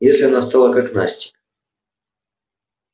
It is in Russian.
если она стала как настя